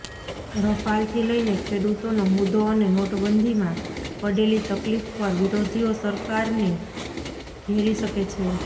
રફાલથી લઈને ખેડૂતોનો મુદ્દો અને નોટબંધીમાં પડેલી તકલીફ પર વિરોધીઓ સરકારને ઘેરી શકે છે